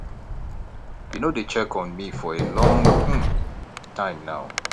you no dey check on me for a long um time now